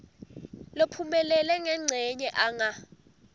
lophumelele ngencenye anga